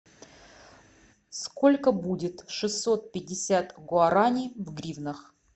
сколько будет шестьсот пятьдесят гуарани в гривнах